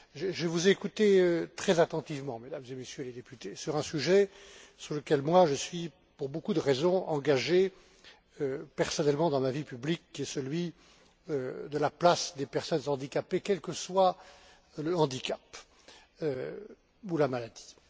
Je vous ai écouté très attentivement, Mesdames et Messieurs les députés, sur un sujet sur lequel je suis, pour beaucoup de raisons, engagé personnellement dans ma vie publique, qui est celui de la place des personnes handicapées, quel que soit le handicap ou la maladie.